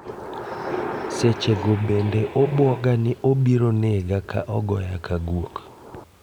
Sechego bende obuoga ni obiro nega ka ogoya ka guok.